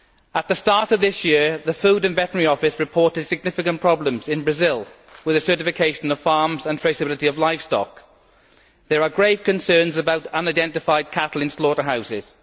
At the start of this issue, the Food and Veterinary Office reported significant problems in Brazil with the certification of farms and traceability of livestock. There are grave concerns about unidentified cattle in slaughterhouses.